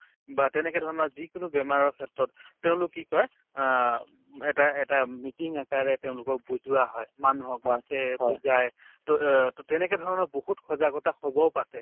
বা তেনেকে ধৰণৰ যিকোনো বেমাৰৰ ক্ষেত্ৰত তেওঁলোক কি কই অ উম এটা এটা meeting আকাৰে তেওঁলোকক বুজোৱা হয় মানুহক মাতে বুজাই to এহ্ to তেনেকে ধৰণৰ বহুত সজাগতা সভাও পাতে